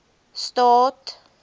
staad